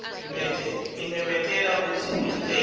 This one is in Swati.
ngimemetele kutsi luhlelo